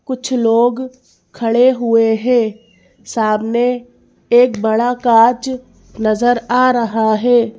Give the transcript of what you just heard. कुछ लोग खड़े हुए है सामने एक बड़ा काँच नजर आ रहा है।